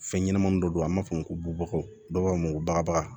Fɛn ɲɛnɛmani dɔ don an b'a fɔ o ma ko bubakaw dɔw b'a fɔ ko bagabaga